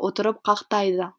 отырып қақтайды